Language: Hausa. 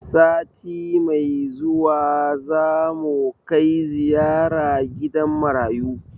Sati mai zuwa za mu kai ziyara gidan marayu.